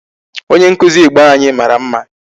Onye nkụzi Igbo anyị mara mma.